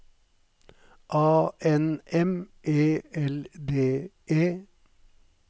A N M E L D E